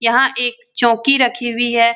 यह एक चौकी रखी हुई है |